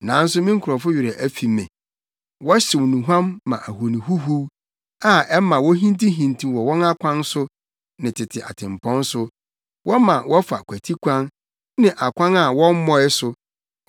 Nanso me nkurɔfo werɛ afi me. Wɔhyew nnuhuam ma ahoni huhuw, a ɛma wohintihintiw wɔ wɔn akwan so ne tete atempɔn so. Wɔma wɔfa kwatikwan ne akwan a wɔmmɔe so.